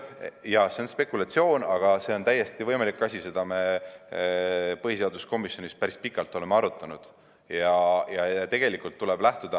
Jaa, see on spekulatsioon, aga see on täiesti võimalik, seda me oleme põhiseaduskomisjonis päris pikalt arutanud.